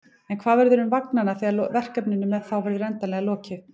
En hvað verður um vagnanna þegar verkefninu með þá verður endanlega lokið?